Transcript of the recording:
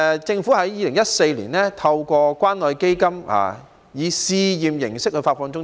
政府在2014年透過關愛基金以試驗形式發放津貼。